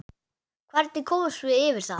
Hvernig komumst við yfir það?